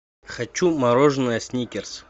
хочу мороженое сникерс